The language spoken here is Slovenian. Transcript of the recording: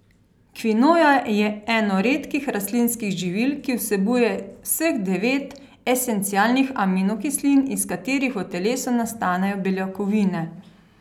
Kvinoja je eno redkih rastlinskih živil, ki vsebujejo vseh devet esencialnih aminokislin, iz katerih v telesu nastanejo beljakovine.